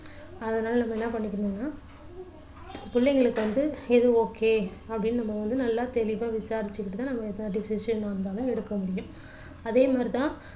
அதனால நம்ம என்ன பண்ணிக்கணும்னா பிள்ளைங்களுக்கு வந்து எது okay அப்படின்னு நம்ம வந்து நல்லா தெளிவா விசாரிச்சிகிட்டு தான் எந்த decision வேணாலும் எடுக்க முடியும் அதே மாதிரி தான்